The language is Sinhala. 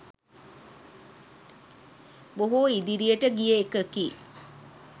බොහෝ ඉදිරියට ගිය එකකි.